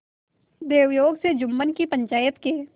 दैवयोग से जुम्मन की पंचायत के